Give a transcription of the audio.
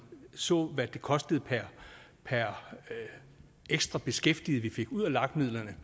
så hvad det kostede per per ekstra beskæftiget vi fik ud af lag midlerne